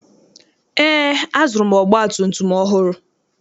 Eé, azụrụ m ọgbatumtum ọhụrụ.